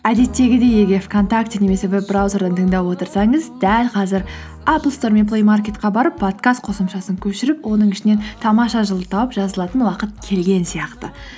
әдеттегідей егер вконтакте немесе веб браузерден тыңдап отырсаңыз дәл қазір аплстор мен плэймаркетке барып подкаст қосымшасын көшіріп оның ішінен тамаша жыл ды тауып жазылатын уақыт келген сияқты